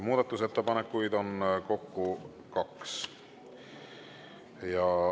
Muudatusettepanekuid on kokku kaks.